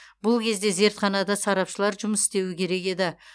бұл кезде зертханада сарапшылар жұмыс істеуі керек еді